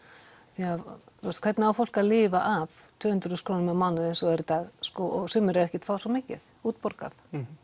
því að hvernig á fólk að lifa af tvö hundruð þúsund krónum á mánuði eins og það er í dag og sumir eru ekkert að fá svo mikið útborgað